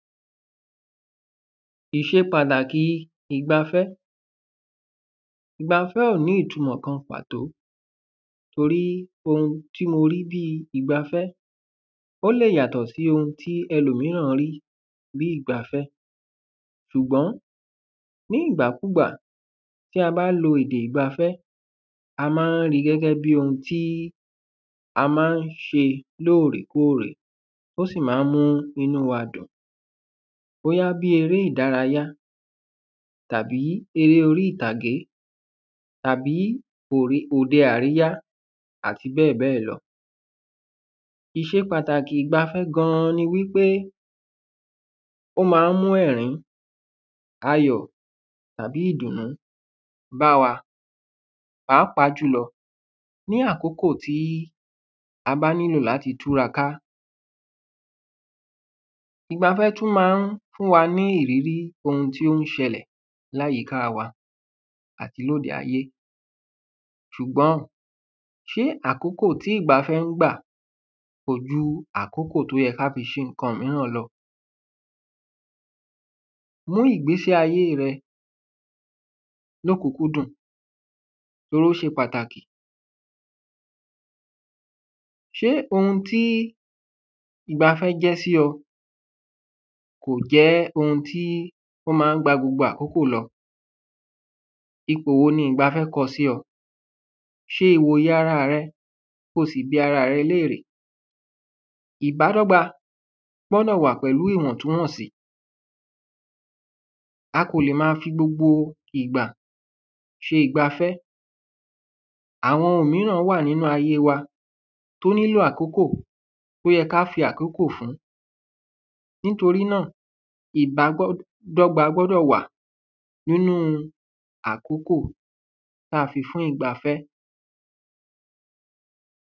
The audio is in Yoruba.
ìṣe pàtàkì ìgbafẹ́ ìgbafẹ́ ò ní ìtumọ̀ pàtó torí ohun tí mo rí bíi ìgbafẹ́ ó lè yàtọ̀ sí ohun tí ẹlòmíràn rí bí ìgbafẹ́ ṣùgbọ́n ní ìgbà kúgbà ta bá lo èdè ìgbafẹ́ a máa ń ri gẹ́gẹ́ bí ohun ta máa ń ṣe lóòrèkóòrè ó sì máa ń mú inú wa dùn bóyá bí eré ìdárayá tàbí eré orí ìtàgé tàbí òde àríyá àti bẹ́ẹ̀bẹ́ẹ̀ lọ ìṣe pàtàkì ìgbafẹ́ gan ni wípé ó máa ń mú ẹ̀rín ayọ̀ àbí ìdùnnú báwa pàápàá jùlọ ní àkókò tí a bá nílò láti túraká ìgbafẹ́ tún máa ń fún wa ní ìrírí ohun tó ń ṣẹlẹ̀ ní àyíká wa àti lóde ayé ṣùgbọ́n ṣe àkókò tí ìgbafẹ́ ń gbà kò ju àkókò tó yẹ ká fi ṣe ǹkan míràn lọ mú ìgbésí ayé rẹ lóòkúnkúndùn ó ṣe pàtàkì ṣé ohun tí ìgbafẹ́ jẹ́ sí ọ kò jẹ́ ohun tí ó máa ń gba gbogbo àkókò lọ ipò wo ni ìgbafẹ́ kọ sí ọ ṣe ìwòyè arà rẹ ko sì bi arà rẹ léèrè ìbádọ́gba gbọ́dọ̀ wà pẹ̀lú ìwọ̀ntúwọ̀nsì a kò lè máa fi gbogbo ìgbà ṣe ìgbafẹ́ àwọn ohun míràn wà nínú ayé wa tó nílò àkókò tó yẹ ká fi àkókò fún nítorí náà ìbádọ́gba gbúdọ̀ wà nínú àkókò tá fi fún ìgbafẹ́